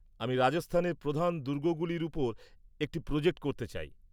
আমি রাজস্থানের প্রধান দুর্গগুলির উপর একটি প্রজেক্ট করতে চাই৷